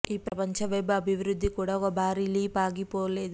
ఈ ప్రపంచ వెబ్ అభివృద్ధి కూడా ఒక భారీ లీపు ఆగిపోలేదు